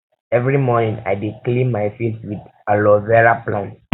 every morning i dey um clean my face with um aloe vera plant